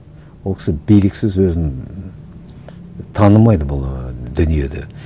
ол кісі биліксіз өзін танымайды бұл ы дүниеде